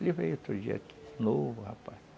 Ele veio outro dia aqui, novo rapaz.